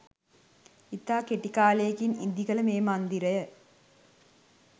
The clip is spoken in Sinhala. ඉතා කෙටි කාලයකින් ඉදි කළ මේ මන්දිරය